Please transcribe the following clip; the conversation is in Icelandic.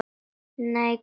Nei, Kalli minn.